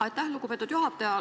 Aitäh, lugupeetud juhataja!